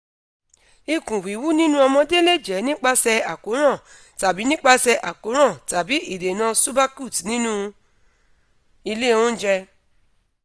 ikun wiwu ninu omode le je nipase akoran tabi nipase akoran tabi idena subacute ninu ile ounje